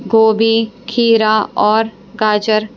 गोभी खीरा और गाजर--